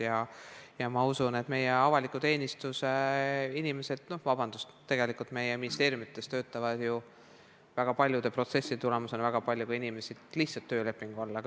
Ma usun, et samu põhimõtteid järgivad ka meie avaliku teenistuse inimesed – vabandust, tegelikult töötavad meie ministeeriumites väga paljude protsesside tulemusena paljud inimesed ka lihtsalt töölepingu alusel.